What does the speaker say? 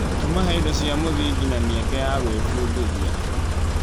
Tũmahe indo cia mũthingi na mĩeke ya gwĩbundithia.